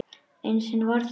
Einu sinni var það